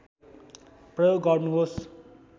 प्रयोग गर्नुहोस्